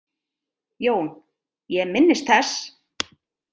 JÓN: Ég minnist þess.